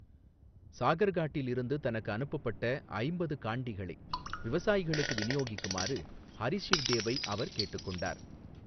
சாகர்காட்டில் இருந்து தனக்கு அனுப்பப்பட்ட ஐம்பது காண்டிகளை விவசாயிகளுக்கு விநியோகிக்குமாறு ஹரி ஷிவ்தேவை அவர் கேட்டுக் கொண்டார்.